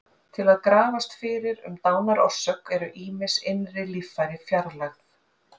Til að grafast fyrir um dánarorsök eru ýmis innri líffæri fjarlægð.